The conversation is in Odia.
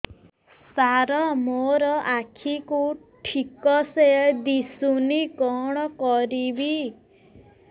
ସାର ମୋର ଆଖି କୁ ଠିକସେ ଦିଶୁନି କଣ କରିବି